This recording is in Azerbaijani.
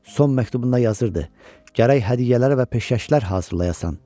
Son məktubunda yazırdı: Gərək hədiyyələr və peşkəşlər hazırlayasan.